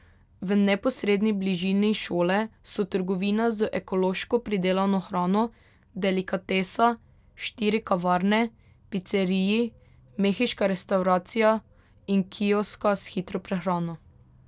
V neposredni bližini šole so trgovina z ekološko pridelano hrano, delikatesa, štiri kavarne, piceriji, mehiška restavracija in kioska s hitro prehrano.